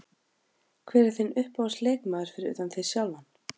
Hver er þinn uppáhalds leikmaður fyrir utan þig sjálfan?